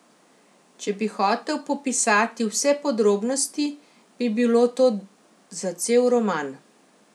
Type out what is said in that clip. Če bi hotel popisati vse podrobnosti, bi bilo to za cel roman.